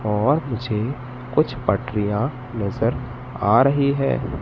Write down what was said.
और मुझे कुछ पटरियाँ नज़र आ रही है।